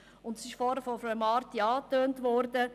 Es ist zuvor von Grossrätin Marti angetönt worden: